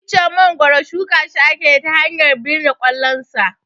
Icen mangoro shuka shi akeyi ta hanyar birne kwallon sa